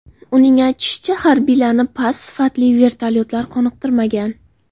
Uning aytishicha, harbiylarni past sifatli vertolyotlar qoniqtirmagan.